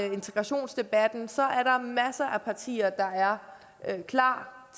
integrationsdebatten så er der masser af partier der er klar